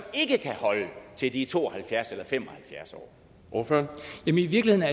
ikke kan holde til de er to og halvfjerds år eller fem og halvfjerds år